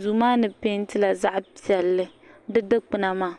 duu maa ni peentila zaɣ piɛlli di dikpuna maa